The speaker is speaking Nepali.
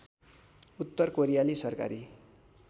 उत्तर कोरियाली सरकारी